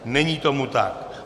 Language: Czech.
Není tomu tak.